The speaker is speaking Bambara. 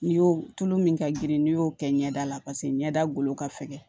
N'i y'o tulu min ka girin n'i y'o kɛ ɲɛda la paseke ɲɛda golo ka fɛgɛn